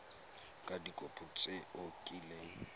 ka dikopo tse o kileng